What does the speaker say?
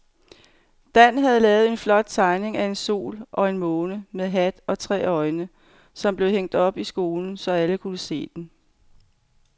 Dan havde lavet en flot tegning af en sol og en måne med hat og tre øjne, som blev hængt op i skolen, så alle kunne se den.